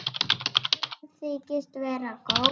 Sem þykist vera góð.